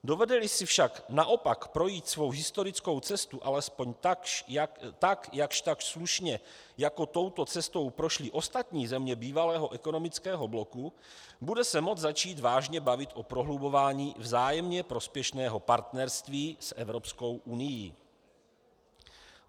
Dovede-li si však naopak projít svou historickou cestu alespoň jakžtakž slušně, jako touto cestou prošly ostatní země bývalého ekonomického bloku, bude se moci začít vážně bavit o prohlubování vzájemně prospěšného partnerství s Evropskou unií.